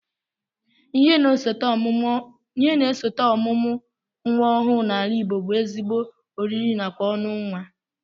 Ihe na-esote ọmụmụ nnwa ọhụụ n'ala Igbo bụ ezigbo oriri nakwa ọṅụ nnwa